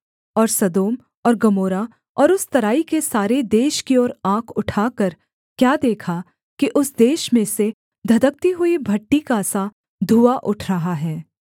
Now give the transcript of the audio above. और सदोम और गमोरा और उस तराई के सारे देश की ओर आँख उठाकर क्या देखा कि उस देश में से धधकती हुई भट्ठी का सा धुआँ उठ रहा है